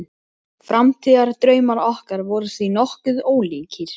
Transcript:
Framtíðardraumar okkar voru því nokkuð ólíkir.